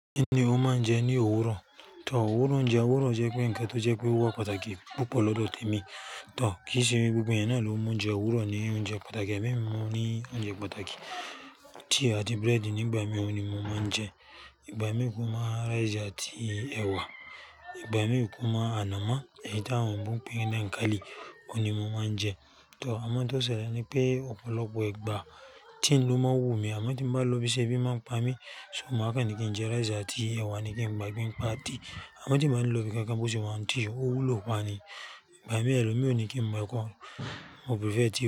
Kí ni o máa ń jẹ ní òwúrọ̀? Tò, òwúrọ̀ oúnjẹ, òwúrọ̀ jẹ́ pé ǹnkan tó jẹ́ pé ó wa pataki púpọ̀ lọ́dọ̀ tèmi. Tò, kìí ṣe gbogbo ẹ̀eyán náà ló mú oúnjẹ òwúrọ̀ ní oúnjẹ pàtàkì. Ẹ̀mi mi mú ní oúnjẹ pàtàkì. Tea àti bread nígbà mìí òun ni mo máa ń jẹ. Ìgbà mìí kùmá rice àti ẹ̀wà. Ìgbà mìí kùmá ànàmọ́, èyí tí àwọn igbo n pé ni dańkálì, òun ni mo máa ń jẹ. Tò, àmọ́ n tó ṣẹlẹ̀ ni pé ọ̀pọ̀lọpọ̀ ìgbà tea ló máa ń wù mí. Àmọ́ tí n bá lọ ibiṣẹ́ ebí máa ń pa mí, so màá kàn ní kí n jẹ rice àti ẹ̀wà ní kí ń gba gbé ń pa tí. Àmọ́ tí n bá ní lóobí kákan bó ṣe wà n tea, ó wúlò pa ni. Ìgbà mìí ẹlòmíràn o ni kí n mu ekọ́, mo prefer tea.